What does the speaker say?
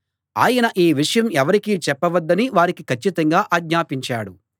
ఆయన ఈ విషయం ఎవరికీ చెప్పవద్దని వారికి కచ్చితంగా ఆజ్ఞాపించాడు